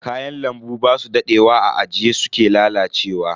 Kayan lambu basu dadewa a ajiye suke lalacewa.